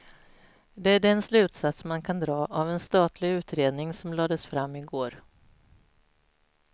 Det är den slutsats man kan dra av en statlig utredning som lades fram i går.